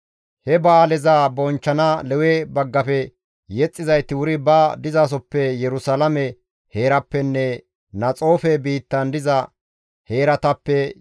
He ba7aaleza bonchchana Lewe baggafe yexxizayti wuri ba dizasoppe Yerusalaame heerappenne Naxoofe biittan diza heeratappe,